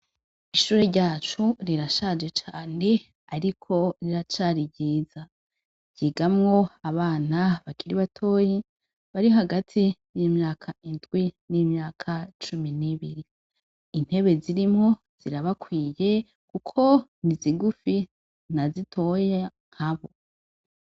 Ishure ryacu rirashaje cane ariko riracari ryiza. Ryigamwo abana bakiri batoyi, bari hagati y'imyaka indwi n'imyaka cumi n'ibiri. Intebe zirimwo zirabakwiye kuko ni zigufi na zitoya nka bo.